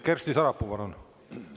Kersti Sarapuu, palun!